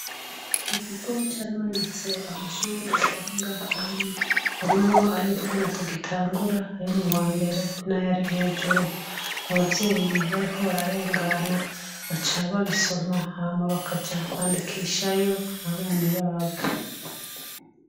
Iki kigo caramanitse amashure ari ngaha anye harimo ay'utwana tugitangura ayo m'uwambere n'ayari hejuru. Abavyeyi bariko bararengana baca babisoma hama bakaja kwandikishayo abana babo.